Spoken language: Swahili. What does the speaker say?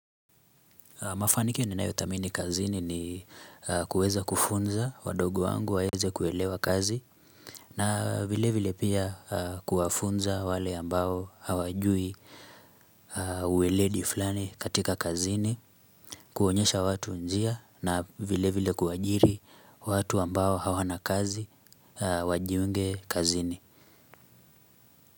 Mafanikik ni nayo thamini kazini ni kuueza kufunza, wadogo wangu waweze kuelewa kazi, na vile vile pia kuwafunza wale ambao hawajui uweledi fulani katika kazini, kuonyesha watu njia, na vile vile kuajiri watu ambao hawana kazi, wajiunge kazini.